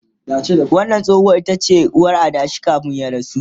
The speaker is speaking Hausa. wannan tsohuwar itace uwar adashin kamin ya rasu